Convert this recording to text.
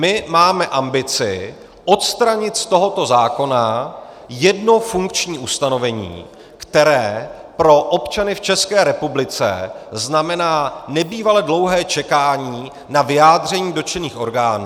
My máme ambici odstranit z tohoto zákona jedno funkční ustanovení, které pro občany v České republice znamená nebývale dlouhé čekání na vyjádření dotčených orgánů.